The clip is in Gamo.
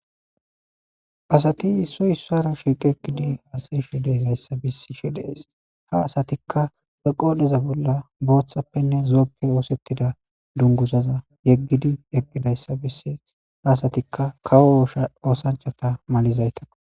Asati issoy issara shiiqe ekidi hasayi shi deezayssa bisi shidees ha asatikka be qoodheza bolla booththappenne zooppe oosettida dungusaza yeggidi yeqqidayssa bissi haasatikka kawo shoosanchata malizayta.